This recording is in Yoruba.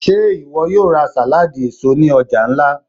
Ṣe iwọ yóò ra saladi eso ni ọja nla?